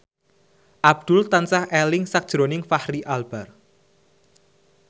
Abdul tansah eling sakjroning Fachri Albar